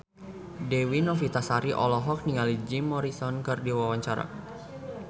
Dewi Novitasari olohok ningali Jim Morrison keur diwawancara